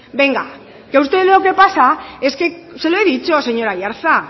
venga que usted lo que pasa es que se lo he dicho señor aiartza